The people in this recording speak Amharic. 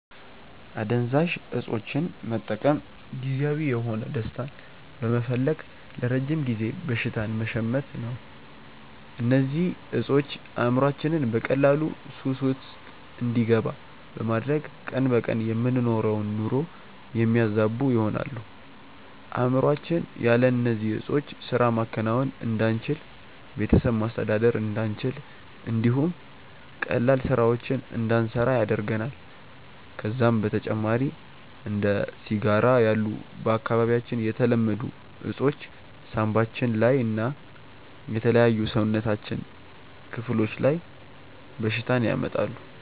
አደንዛዥ እፆችን መጠቀም ጊዜያዊ የሆነ ደስታን በመፈለግ ለረጅም ጊዜ በሽታን መሸመት ነው። እነዚህ እፆች አእምሮአችንን በቀላሉ ሱስ ውስጥ እንዲገባ በማድረግ ቀን በቀን የምንኖረውን ኑሮ የሚያዛቡ ይሆናሉ። አእምሮአችን ያለ እነዚህ ዕጾች ስራ ማከናወን እንዳንችል፣ ቤተሰብ ማስተዳደር እንዳንችል እንዲሁም ቀላል ስራዎችን እንዳንሰራ ያደርገናል። ከዛም በተጨማሪ እንደ ሲጋራ ያሉ በአካባቢያችን የተለመዱ እፆች ሳንባችን ላይ እና የተለያዩ የሰውነታችን ክፍሎች ላይ በሽታን ያመጣሉ።